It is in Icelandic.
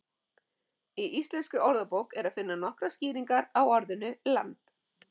í íslenskri orðabók er að finna nokkrar skýringar á orðinu land